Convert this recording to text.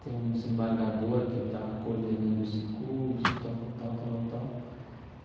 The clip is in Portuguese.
Tem um desembargador que está coordenando esse curso, tal, tal, tal, tal, tal tal.